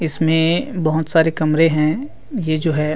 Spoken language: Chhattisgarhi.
इसमें बहोत सारे कमरे है ये जो है।